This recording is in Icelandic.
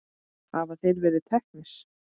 Hafa þeir verið teknir?